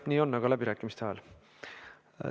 Nii on, aga läbirääkimiste ajal.